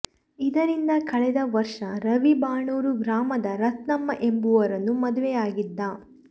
ಇದರಿಂದ ಕಳೆದ ವರ್ಷ ರವಿ ಬಾಣೂರು ಗ್ರಾಮದ ರತ್ನಮ್ಮ ಎಂಬವರನ್ನು ಮದುವೆಯಾಗಿದ್ದ